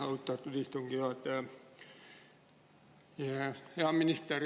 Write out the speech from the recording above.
Austatud istungi juhataja!